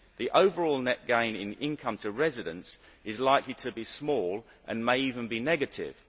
The overall net gain in income to residents is likely to be small and may even be negative'.